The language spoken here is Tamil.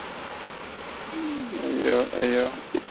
ம் ஹய்யோ ஹய்யோ.